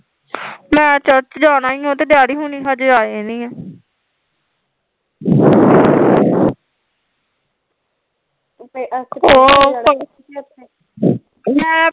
ਮੈਂ ਚਰਚ ਜਾਣਾ ਈ ਓ ਤੇ ਡੈਡੀ ਹੁਣੀ ਹਜੇ ਆਏ ਨੀ ਐ ਮੈਂ